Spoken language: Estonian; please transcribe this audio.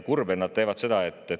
Kurb, et nad seda teevad.